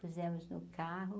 Pusemos no carro.